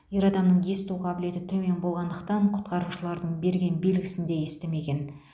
ер адамның есту қабілеті төмен болғандықтан құтқарушылардың берген белгісін де естімеген